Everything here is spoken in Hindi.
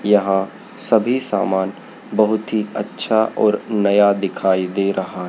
यहां सभी सामान बहुत ही अच्छा और नया दिखाई दे रहा--